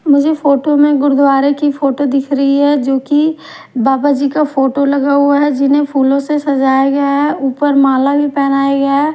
मुझे फोटो में गुरुद्वारे की फोटो दिख रही है जोकि बाबा जी का फोटो लगा हुआ है जिन्हें फूलों से सजाया गया है ऊपर माला भी पहनाया गया है।